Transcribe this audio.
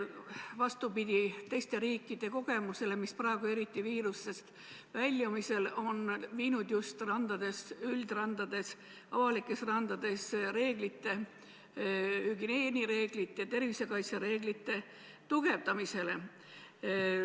Vastupidi teiste riikide kogemustele, kus praegu, eriti just viiruse põhjustatud kriisist väljumisel, on üldrandades, avalikes randades hügieeni- ja tervisekaitsereegleid karmistatud.